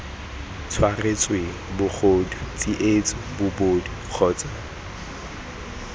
tshwaretsweng bogodu tsietso bobodu kgotsa